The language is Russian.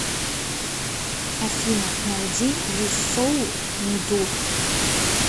афина найди юсоу ндур